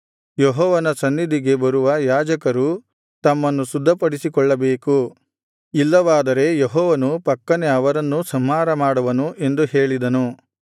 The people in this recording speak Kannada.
ಯೆಹೋವನ ಸನ್ನಿಧಿಗೆ ಬರುವ ಯಾಜಕರೂ ತಮ್ಮನ್ನು ಶುದ್ಧಿಪಡಿಸಿಕೊಳ್ಳಬೇಕು ಇಲ್ಲವಾದರೆ ಯೆಹೋವನು ಪಕ್ಕನೆ ಅವರನ್ನೂ ಸಂಹಾರಮಾಡುವನು ಎಂದು ಹೇಳಿದನು